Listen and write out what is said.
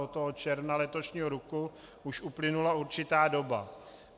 Od toho června letošního roku už uplynula určitá doba.